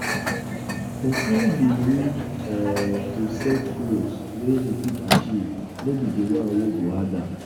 um person go need um to set goals um wey im fit achieve no be di one wey go hard am